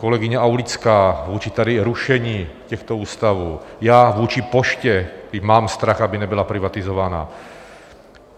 Kolegyně Aulická vůči tady rušení těchto ústavů, já vůči poště, když mám strach, aby nebyla privatizována.